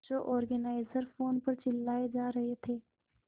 show organiser phone पर चिल्लाए जा रहे थे